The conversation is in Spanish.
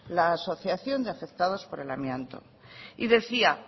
la asociación de afectados por el amianto y decía